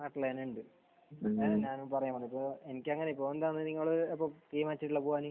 ആഹ്. ഉണ്ട്. അത് തന്നെയാണ് ഞാനും പറയുക. എനിക്ക് അങ്ങനെ നിങ്ങൾ തീരുമാനിച്ചിട്ടുള്ളത് പോവാൻ?